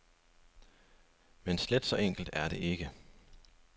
Men slet så enkelt er det ikke.